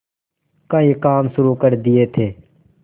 कई काम शुरू कर दिए थे